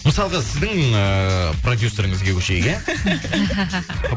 мысалға сіздің ыыы продюсеріңізге көшейік иә